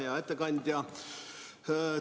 Hea ettekandja!